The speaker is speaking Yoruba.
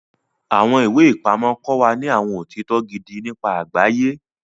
Awọn iwe-ipamọ kọ wa ní awọn otitọ gidi nípa àgbáyé.